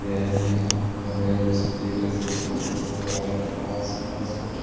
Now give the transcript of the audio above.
यह एक हॉल है जिसमें रिसेप्शन पास पास कुछ --